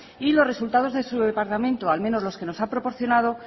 y los resultados de su departamento al menos los que nos ha proporcionado